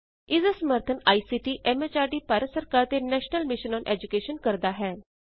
ਇਸ ਦਾ ਸਮਰੱਥਨ ਆਈਸੀਟੀ ਐਮ ਐਚਆਰਡੀ ਭਾਰਤ ਸਰਕਾਰ ਦੇ ਨੈਸ਼ਨਲ ਮਿਸ਼ਨ ਅੋਨ ਏਜੂਕੈਸ਼ਨ ਕਰਦਾ ਹੈ